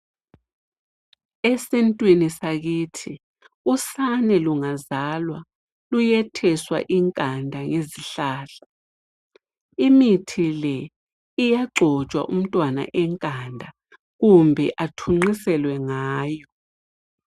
Esintwini sakithi, usane lungazalwa luyetheswa inkanda ngezihlahla .Imithi le iyagcotshwa umtwana enkanda kumbe athunqinselwe ngayo.